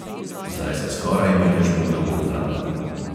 Zdaj se skoraj ni več mogel obvladati.